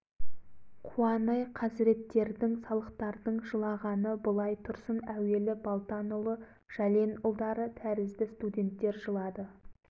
қорқып ешқайсысы батпады көшеде жан-жақтан зуылдаған оқтың арасымен ұшып музейге келдім музейде астан-кестен екен деді еріп